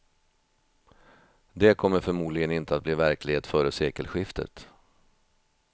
Det kommer förmodligen inte att bli verklighet före sekelskiftet.